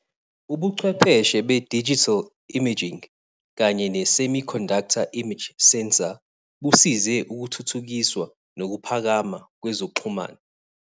Ubuchwepheshe be-digital imaging kanye ne-semiconductor image sensor busize ukuthuthukiswa nokuphakama kwezokuxhumana.